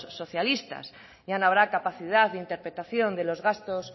socialistas ya no habrá capacidad de interpretación de los gastos